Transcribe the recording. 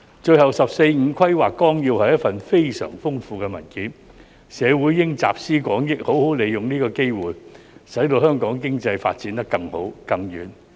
最後，《十四五規劃綱要》是一份非常豐富的文件，社會應集思廣益，好好利用這個機會，使香港經濟發展得更好、更遠。